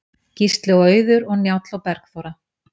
Gísli og Auður og Njáll og Bergþóra.